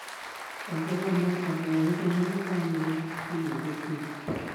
ongerera mwaka mwerũ hamwe na famĩlĩ kiumia gĩũkĩte